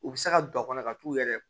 U bɛ se ka don a kɔnɔ ka t'u yɛrɛ